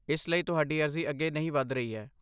ਇਸ ਲਈ ਤੁਹਾਡੀ ਅਰਜ਼ੀ ਅੱਗੇ ਨਹੀਂ ਵੱਧ ਰਹੀ ਹੈ।